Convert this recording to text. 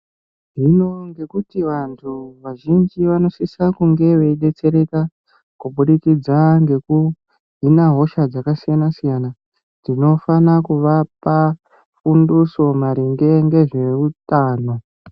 Hino ngekuti vantu vazhinji vanosise kunge veidetsereka kubudikidza ngekuhina hosha dzakasiyana siyana tonofan kuvapa fundiso maringe ngezveutano.